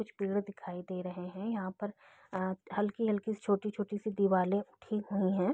कुछ पेड़ दिखाई दे रहे हैं यहाँ पर अ हल्की-हल्की सी छोटी-छोटी सी दीवाले उठी हुई हैं।